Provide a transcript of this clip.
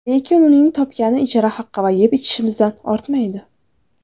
Lekin uning topgani ijara haqi va yeb-ichishimizdan ortmaydi.